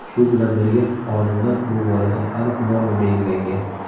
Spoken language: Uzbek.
Shu bilan birga, Qonunda bu borada aniq norma belgilangan.